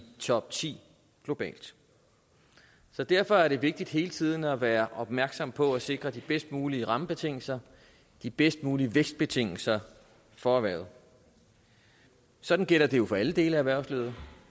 topti globalt så derfor er det vigtigt hele tiden at være opmærksom på at sikre de bedst mulige rammebetingelser de bedst mulige vækstbetingelser for erhvervet sådan gælder det jo for alle dele af erhvervslivet